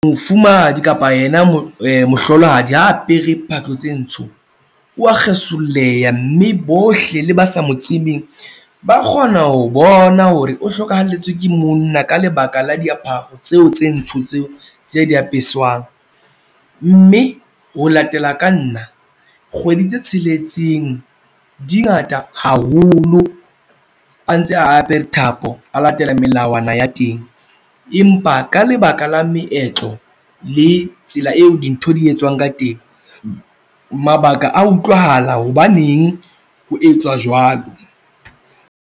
Mofumahadi kapa yena mohlolohadi ha a apere phahlo tse ntsho wa kgesolleha mme bohle le ba sa mo tsebeng, ba kgona ho bona hore o hlokahelletswe ke monna ka lebaka la diaparo tseo tse ntsho tseo tse a di apesang mme ho latela ka nna kgwedi tse tsheletseng dingata haholo a ntse a apere thapo, a latela melawana ya teng, empa ka lebaka la meetlo le tsela eo dintho di etswang ka teng mabaka a utlwahala hobaneng ho etswa jwalo.